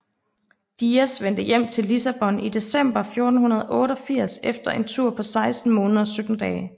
Dias vendte tilbage til Lissabon i december 1488 efter en tur på seksten måneder og sytten dage